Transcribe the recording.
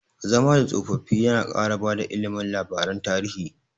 Zama da tsofaffi yana ƙara bada ilimi labaran tarihi.